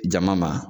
Jama ma